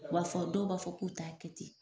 U b'a fɔ dɔw b'a fɔ k'u t'a kɛ ten.